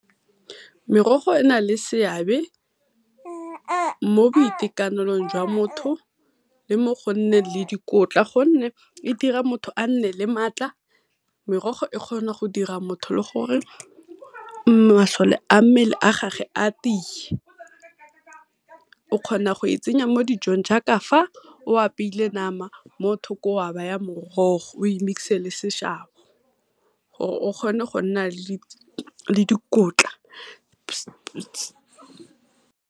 Merogo e nale seabe mo boitekanelong jwa motho le mo go nneng le dikotla gonne e dira motho a nne le maatla. Merogo e kgona dira motho le gore masole a mmele a gage a tiye. O kgona go e tsenya mo dijong jaaka o apeile nama mothoko wa baya morogo we mix-e le seshabo, gore o kgone go nna le dikotla.